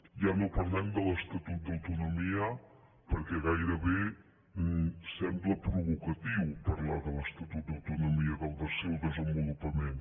ja no parlem de l’estatut d’autonomia perquè gairebé sembla provocatiu parlar de l’estatut d’autonomia del seu desenvolupament